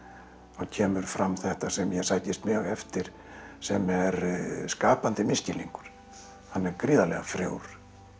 þá kemur fram þetta sem ég sækist mjög eftir sem er skapandi misskilningur hann er gríðarlega frjór